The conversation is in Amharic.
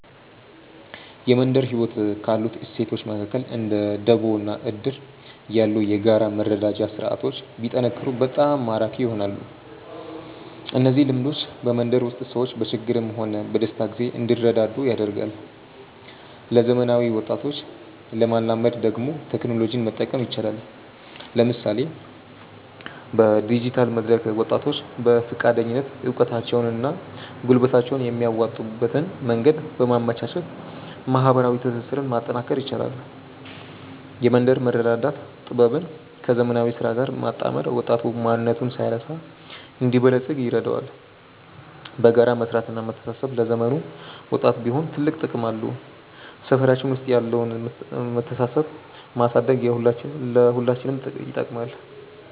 የመንደር ህይወት ካሉት እሴቶች መካከል እንደ ደቦ እና እድር ያሉ የጋራ መረዳጃ ስርዓቶች ቢጠናከሩ በጣም ማራኪ ይሆናሉ። እነዚህ ልምዶች በመንደር ውስጥ ሰዎች በችግርም ሆነ በደስታ ጊዜ እንዲረዳዱ ያደርጋሉ። ለዘመናዊ ወጣቶች ለማላመድ ደግሞ ቴክኖሎጂን መጠቀም ይቻላል፤ ለምሳሌ በዲጂታል መድረክ ወጣቶች በፈቃደኝነት እውቀታቸውንና ጉልበታቸውን የሚያዋጡበትን መንገድ በማመቻቸት ማህበራዊ ትስስሩን ማጠናከር ይቻላል። የመንደር መረዳዳት ጥበብን ከዘመናዊ ስራ ጋር ማጣመር ወጣቱ ማንነቱን ሳይረሳ እንዲበለጽግ ይረዳዋል። በጋራ መስራትና መተሳሰብ ለዘመኑም ወጣት ቢሆን ትልቅ ጥቅም አለው። ሰፈራችን ውስጥ ያለውን መተሳሰብ ማሳደግ ለሁላችንም ይጠቅማል።